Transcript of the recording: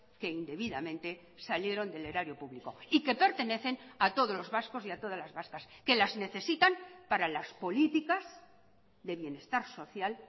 que indebidamente salieron del erario público y que pertenecen a todos los vascos y a todas las vascas que las necesitan para las políticas de bienestar social